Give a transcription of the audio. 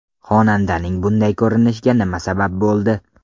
Xonandaning bunday ko‘rinishiga nima sabab bo‘ldi?